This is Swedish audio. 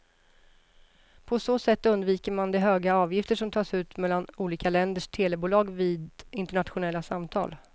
På så sätt undviker man de höga avgifter som tas ut mellan olika länders telebolag vid internationella samtal.